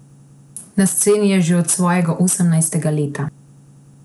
Na sceni je že od svojega osemnajstega leta.